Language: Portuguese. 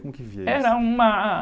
Como que via isso?ra uma...